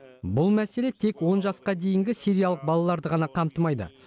бұл мәселе тек он жасқа дейінгі сириялық балаларды ғана қамтымайды